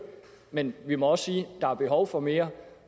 men vi må også sige at der er behov for mere